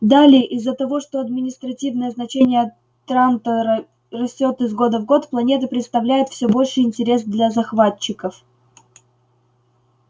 далее из-за того что административное значение трантора растёт из года в год планета представляет все больший интерес для захватчиков